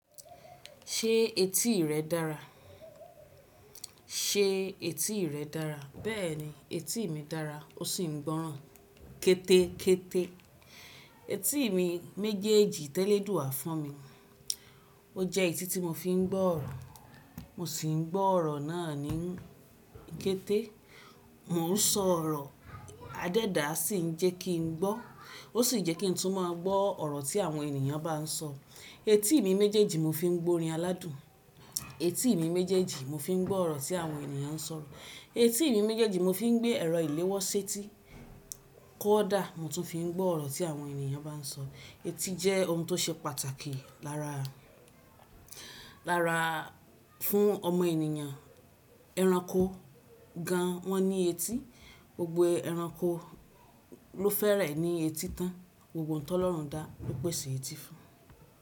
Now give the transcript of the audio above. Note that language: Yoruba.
Ṣé etí rẹ dára? Ṣé etí rẹ dára? Bẹ́ẹ̀ni, etí mi dára ó sì ń gbọ́ràn kẹ́tẹ́kẹ́tẹ́. Etí mi méjèèjì tẹ́ oduwa fún mi. O jẹ́ etí tí mo fi ń gbọ́ ọ̀rọ̀. Mo sì ń gbọ́ ọ̀rọ̀ náà ní kẹ́tẹ́. Mo ń sọ ọ̀rọ̀, a dẹ́dà sì ń jẹ́ kí n gbọ́. Ó sì jẹ́ kí n tún mọgbọ́n ọ̀rọ̀ tí àwọn ènìyàn bá ń sọ. Etí mi méjèèjì mo fi ń gbọ́rin aládùn. Etí mi méjèèjì mo fi ń gbọ́ ọ̀rọ̀ tí àwọn ènìyàn ń sọ̀rọ̀. Etí mi méjèèjì mo fi ń gbé ẹ̀rọ ìléwọ́ ṣẹ́tí kọ̀dà mo tún fi ń gbọ́ ọ̀rọ̀ tí àwọn ènìyàn bá ń sọ. Etí jẹ́ ohun tó ṣe pàtàkì lára, lára fún ọmọ ènìyàn. Ẹranko gan wọ́n ní etí. Gbogbo ẹranko ló fẹ́rẹ̀ ní etí tán. Gbogbo n tọ́ lọ́run dá ló pèsè etí fún.